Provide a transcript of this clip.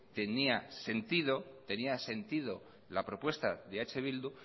tenía sentido la propuesta de eh bildu